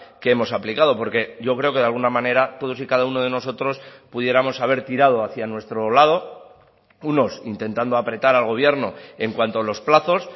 que hemos aplicado porque yo creo que de alguna manera todos y cada uno de nosotros pudiéramos haber tirado hacia nuestro lado unos intentando apretar al gobierno en cuanto a los plazos